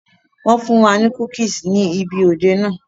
Wọn fún wa ní cookies ni ibi òde náà.